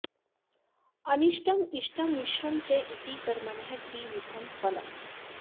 अनिष्टम् इष्टं मिश्रं च इति कर्मणः त्रिविधं फलम्